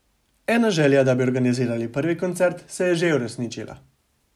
Ena želja, da bi organizirali prvi koncert, se je že uresničila.